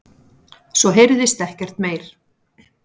Svo heyrðist ekkert meir.